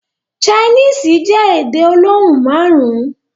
Chinese jẹ́ èdè olóhùn márùn.